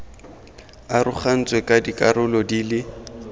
arogantswe ka dikarolo di le